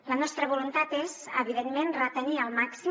la nostra voluntat és evidentment retenir el màxim